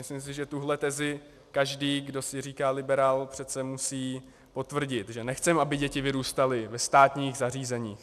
Myslím si, že tuto tezi každý, kdo si říká liberál, přece musí potvrdit, že nechceme, aby děti vyrůstaly ve státních zařízeních.